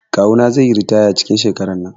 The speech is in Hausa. Kawu na zai yi ritaya cikin shekaran nan.